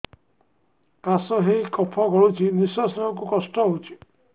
କାଶ ହେଇ କଫ ଗଳୁଛି ନିଶ୍ୱାସ ନେବାକୁ କଷ୍ଟ ହଉଛି